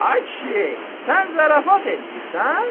Ay kişi, sən zarafat eləyirsən?